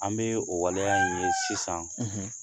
An bɛ o waleya in ye sisan